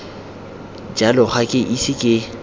jalo ga ke ise ke